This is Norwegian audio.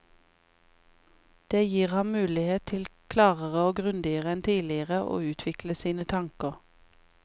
Det gir ham mulighet til klarere og grundigere enn tidligere å utvikle sine tanker.